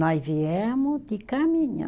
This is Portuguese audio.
Nós viemos de caminhão.